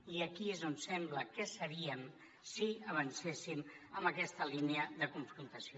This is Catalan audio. i aquí és on sembla que seríem si avancéssim en aquesta línia de confrontació